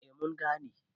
A mun gane